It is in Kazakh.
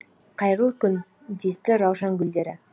қайырлы күн десті раушан гүлдері